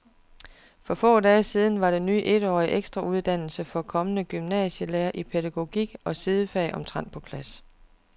For få dage siden var den ny etårige ekstrauddannelse for kommende gymnasielærere i pædagogik og sidefag omtrent på plads.